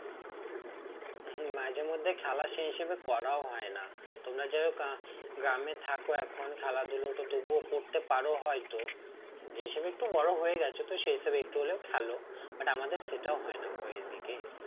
হম মাঝেমধ্যে খেলা সে হিসেবে করাও হয় না তোমরা গ্রামে থাকো এখন খেলাধুলো তো তবুও করতে পারো হয়তো যে হিসেবে একটু বড় হয়ে গেছো তো সেই হিসেবে একটু হলেও খেলো but আমাদের সেটাও হয় না গো এদিকে